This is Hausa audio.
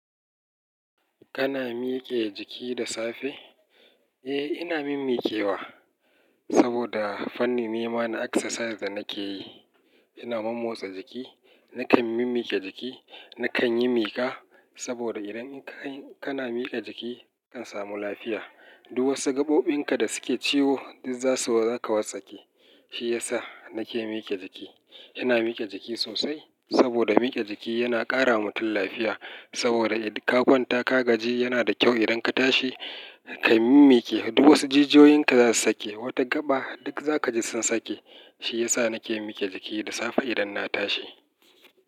Kana mike jiki da safe? Eh, ina mimmi kewa. Saboda fanni nema na exercise da nake yi, ina mommotsa jiki. Nakan mimmi ke jiki. Nakan yi mika. Saboda idan ka-kana mike jiki kan samu lafiya. Duk wasu gaɓoɓin ka da suke ciwo duk za su, za ka wartsake. Shi ya sa nake mike jiki. Ina mike jiki sosai saboda mike jiki yana ƙara wa mutum lafiya. Saboda idan ka kwanta ka gaji yana da kyau idan ka tashi ka mimmi ke. Duk wasu jijiyoyin ka za su sake. Wata gaɓa duk za ka ji sun sake. Shi ya sa nake mike jiki da safe idan na tashi.